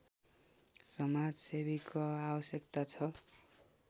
समाजसेवीको आवश्यकता छ